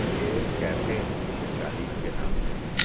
ये कैफे है चालीस के नाम से है।